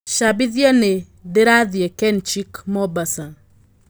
cambĩthĩa nĩ ndĩrathĩi kenchic Mombasa